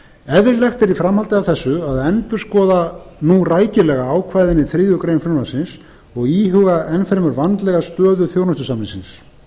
eðlilegt er í framhaldi af þessu að endurskoða nú rækilega ákvæðin í þriðju greinar frumvarpsins og íhuga enn fremur stöðu þjónustusamningsins